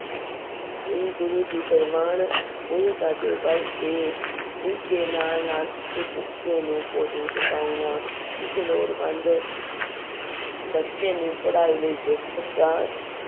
ਹੀ ਗੁਰੂ ਜੀ ਪਰਵਾਨ ਨਹੀਂ ਕਰਦੇ ਬਲਕਿ ਇਸਦੇ ਨਾਲ ਨਾਲ ਕਿਸੇ ਭੁੱਖੇ ਨੂੰ ਭੋਜਨ ਸਕਾਉਣਾ ਕਿਸੇ ਲੋੜਵੰਦ ਬੱਚੇ ਨੂੰ ਪੜ੍ਹਾਈ ਲਈ ਪੁਸਤਕਾਂ